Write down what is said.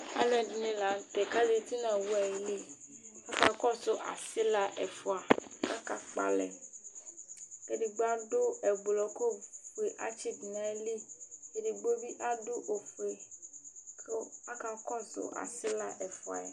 alo ɛdini lantɛ k'azati no owu ayili aka kɔsu asila ɛfua k'aka kpɔ alɛ k'edigbo adu ublɔ k'ofue atsi do n'ayili edigbo bi adu ofue kò aka kɔsu asila ɛfua yɛ